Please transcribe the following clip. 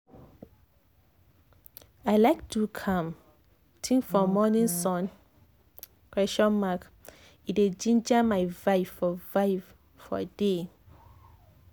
i like do calm-think for morning sun question mark e dey ginger my vibe for vibe for day."